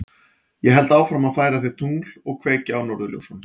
Ég held áfram að færa þér tungl og kveikja á norðurljósunum.